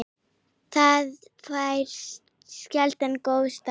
Það fær sérlega góðan stað.